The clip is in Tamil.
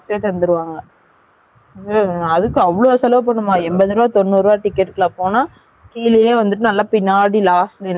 அதுக்கு அவ்லொ செலவு பன்னனுமா எம்பது ருபாய் தொன்னூரு ருபாய்க்கு எல்லாம் போனா பின்னடி last ல யெ கிடைக்கும் தெரியுமா?